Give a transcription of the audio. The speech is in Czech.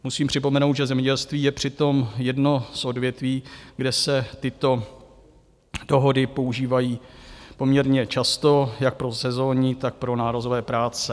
Musím připomenout, že zemědělství je přitom jedno z odvětví, kde se tyto dohody používají poměrně často jak pro sezónní, tak pro nárazové práce.